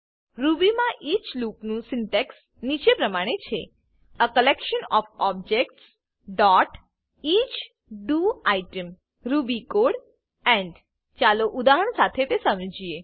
Ruby મા each લૂપનું syntax નીચે પ્રમાણે છે એ collection of objects dot each D O I T E M Ruby code end ચાલો ઉદાહરણ શાથે તે સમજીએ